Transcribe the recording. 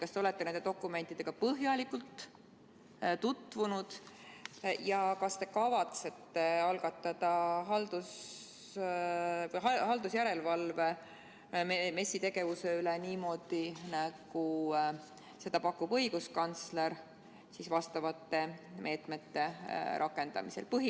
Kas te olete nende dokumentidega põhjalikult tutvunud ja kas te kavatsete algatada haldusjärelevalve MES-i tegevuse üle niimoodi, nagu seda pakub õiguskantsler vastavate meetmete rakendamisel?